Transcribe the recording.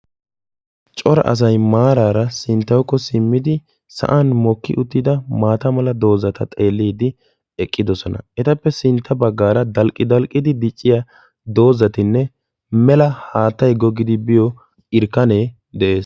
coraa asassi maarara sinttawukko simmidi sa'an mokki uttida maata mala doozata xeellidi eqqidoosona. etappe sintta baggaara dalddi-dalqqidi dicciyaa doozatinne mela haattay giggidi biyo irkkane de'ees.